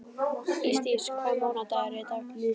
Ísdís, hvaða mánaðardagur er í dag?